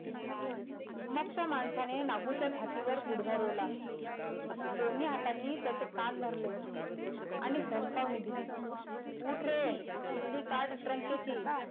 मग त्या माणसाने नागूच्या छातीवर गुढगा रोवला दोन्ही हातानी त्याचे कान धरले आणि धमकावणी दिली उठ रे किल्ली काढ ट्रकेची,